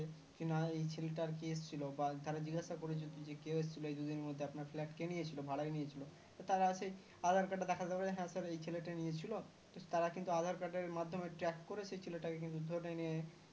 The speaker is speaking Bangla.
কি না এই ছেলে তা আর কে এসেছিলো বা তারা জিজ্ঞাসা করে যদি কে এসেছিল এই দুদিনের মধ্যে আপনার flat কে নিয়েছিল ভাড়ায় নিয়েছিল ত তারা সেই aadhar card এর মাধ্যমে track করে সেই ছেলেটাকে কিন্তু ধরে নিয়ে কিন্তু